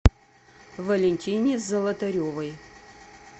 валентине золотаревой